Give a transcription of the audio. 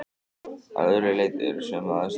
Að öðru leyti eru sömu aðstæður.